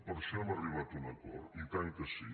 per això hem arribat a un acord i tant que sí